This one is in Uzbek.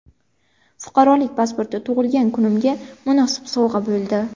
Fuqarolik pasporti tug‘ilgan kunimga munosib sovg‘a bo‘ldi.